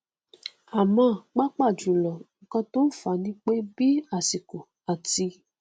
àmọ pàápàá jùlọ nnkan tó fà á nipé bí àsìkò àti